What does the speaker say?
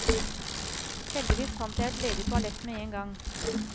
Heldigvis fant jeg et ledig toalett med en gang.